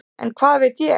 En hvað veit ég.